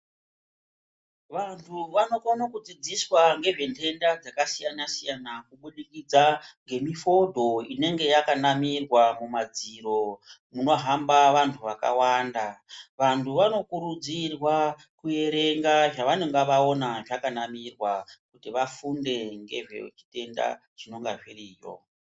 Vantu vanokona kudzidziswa ngezvendenda dzakasiyana-siyana, kubudikidza ngemifodho inenge yakanamirwa mumadziro munohamba vantu vakawanda. Vantu vanokurudzirwa kuerenga zvavanenge vaona zvakanamirwa kuti vafunde ngezvezvitenda zvinonga zviriyo.